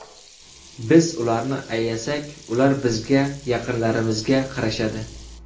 Biz ularni ayasak, ular bizga, yaqinlarimizga qarashadi.